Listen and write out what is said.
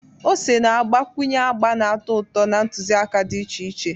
Ose na-agbakwunye agba na-atọ ụtọ na ntụziaka dị iche iche.